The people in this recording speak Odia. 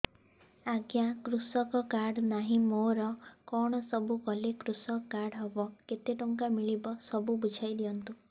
ଆଜ୍ଞା କୃଷକ କାର୍ଡ ନାହିଁ ମୋର କଣ ସବୁ କଲେ କୃଷକ କାର୍ଡ ହବ କେତେ ଟଙ୍କା ମିଳିବ ସବୁ ବୁଝାଇଦିଅନ୍ତୁ